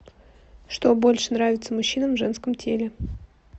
что больше нравится мужчинам в женском теле